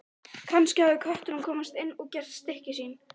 Kannski hafði köttur komist inn og gert stykki sín.